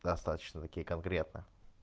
достаточно такие конкретно